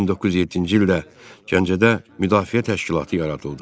1907-ci ildə Gəncədə Müdafiə təşkilatı yaradıldı.